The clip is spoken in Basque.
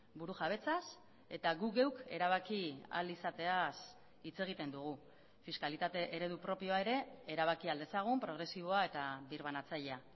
burujabetzaz eta gu geuk erabaki ahal izateaz hitz egiten dugu fiskalitate eredu propioa ere erabaki ahal dezagun progresiboa eta birbanatzailea